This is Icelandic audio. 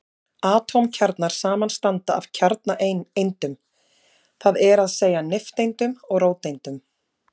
Atómkjarnar samanstanda af kjarnaeindum, það er að segja nifteindum og róteindum.